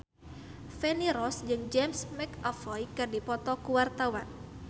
Feni Rose jeung James McAvoy keur dipoto ku wartawan